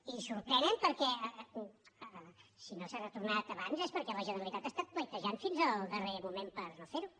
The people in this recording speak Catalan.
i sorprenen perquè si no s’ha retornat abans és perquè la generalitat ha estat pledejant fins al darrer moment per no fer ho